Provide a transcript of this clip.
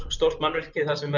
stórt mannvirki þar sem